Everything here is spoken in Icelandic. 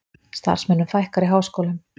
Starfsmönnum fækkar í háskólum